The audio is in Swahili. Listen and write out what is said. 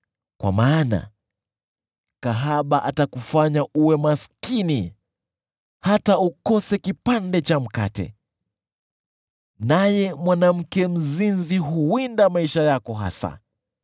kwa maana kahaba atakufanya uwe maskini, hata ukose kipande cha mkate, naye mwanamke mzinzi huwinda maisha yako hasa.